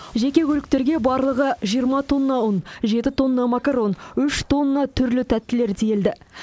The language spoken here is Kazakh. жеке көліктерге барлығы жиырма тонна ұн жеті тонна макарон үш тонна түрлі тәттілер тиелді